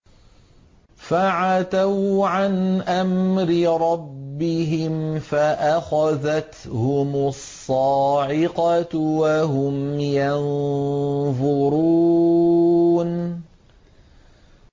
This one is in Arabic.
فَعَتَوْا عَنْ أَمْرِ رَبِّهِمْ فَأَخَذَتْهُمُ الصَّاعِقَةُ وَهُمْ يَنظُرُونَ